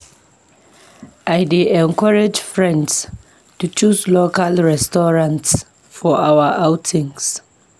I dey encourage friends to choose local restaurants for our outings.